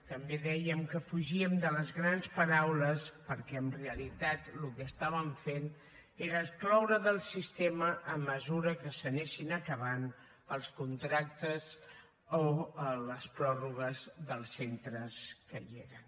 també dèiem que fugíem de les grans paraules perquè en realitat el que estàvem fent era excloure del sistema a mesura que s’anessin acabant els contractes o les pròrrogues dels centres que hi eren